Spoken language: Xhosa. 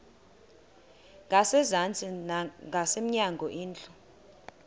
ngasezantsi ngasemnyango indlu